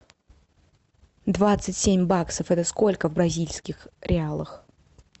двадцать семь баксов это сколько в бразильских реалах